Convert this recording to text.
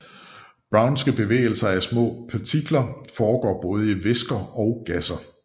Brownske bevægelser af små partikler foregår både i væsker og gasser